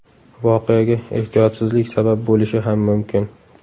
Voqeaga ehtiyotsizlik sabab bo‘lishi ham mumkin.